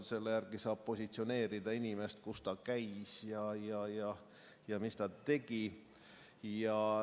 Selle järgi saab positsioneerida inimest, et kus ta käis ja mida ta tegi.